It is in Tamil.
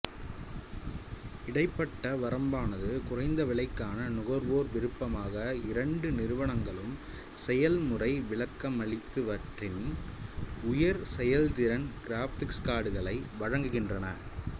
இடைப்பட்ட வரம்பானது குறைந்த விலைக்கான நுகர்வோர் விருப்பமாக இரண்டு நிறுவனங்களும் செயல்முறை விளக்கமளித்தவற்றின் உயர் செயல்திறன் கிராபிக்ஸ் கார்டுகளை வழங்குகின்றன